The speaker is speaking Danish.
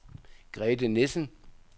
Grethe Nissen